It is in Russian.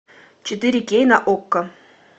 четыре кей на окко